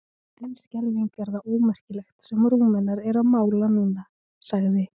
En skelfing er það ómerkilegt sem Rúmenar eru að mála núna, sagði